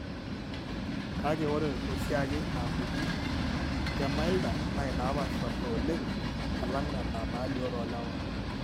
Kake, ore oshiake inaapuku keimilder naa inaapaashipaasha oleng alang' nena naalioo toolewa.